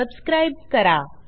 सहभागाबद्दल धन्यवाद